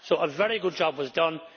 A very good job was done.